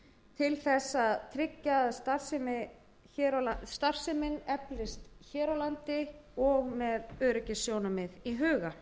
til að tryggja að starfsemin eflist hér á landi og með öryggissjónarmið í huga